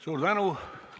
Suur tänu!